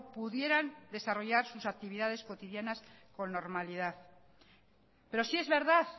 pudieran desarrollar sus actividades cotidianas con normalidad pero sí es verdad